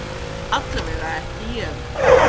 Allavega ekki ég.